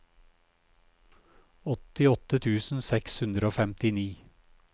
åttiåtte tusen seks hundre og femtini